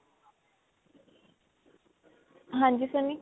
ਹਾਂਜੀ ਸੰਨੀ